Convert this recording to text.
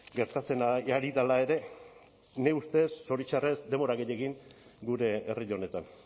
gertatzen ari dela ere nire ustez zoritxarrez denbora gehiegi gure herri honetan